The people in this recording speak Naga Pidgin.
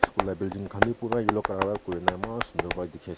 school la building khan b pura yellow color para kuri na eman sundur para dikhi ase.